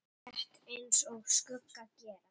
Rétt eins og skuggar gera.